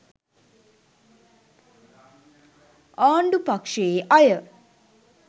ආණ්ඩු පක්ෂයේ අය